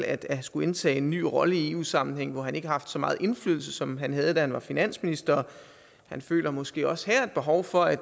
at skulle indtage en ny rolle i eu sammenhæng hvor han ikke har så meget indflydelse som man havde da han var finansminister han føler måske også her et behov for at